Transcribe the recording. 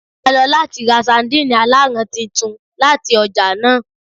A lo lati ra sardine alaran titun lati ọja naa